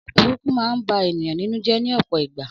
Ọ̀rọ̀ burúkú ma ń bá ènìyàn nínú jé ní òpò ìgbà